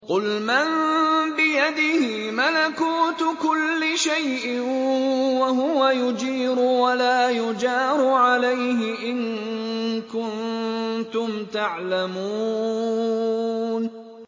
قُلْ مَن بِيَدِهِ مَلَكُوتُ كُلِّ شَيْءٍ وَهُوَ يُجِيرُ وَلَا يُجَارُ عَلَيْهِ إِن كُنتُمْ تَعْلَمُونَ